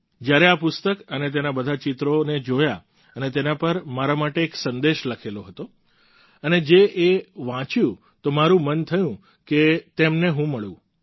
જ્યારે મેં આ પુસ્તક અને તેના બધા ચિત્રોને જોયા અને તેના પર મારા માટે એક સંદેશ લખેલો અને જે એ વાંચ્યું તો મારું મન થયું કે તેમને હું મળું